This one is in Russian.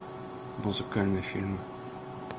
музыкальные фильмы